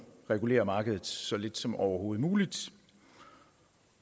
regulere markedet så lidt som overhovedet muligt